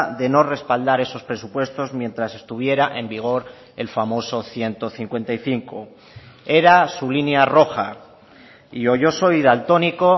de no respaldar esos presupuestos mientras estuviera en vigor el famoso ciento cincuenta y cinco era su línea roja y o yo soy daltónico